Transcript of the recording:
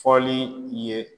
Fɔli i ye